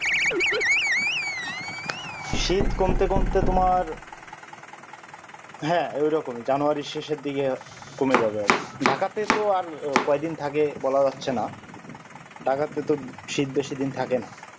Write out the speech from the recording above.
শীত কমতে কমতে তোমার হ্যাঁ ঐরকমই january র শেষের দিকে কমে যাবে আরকি ঢাকাতে তো আর কয়দিন থাকে বলা যাচ্ছে না ঢাকাতে তো শীত বেশি দিন থাক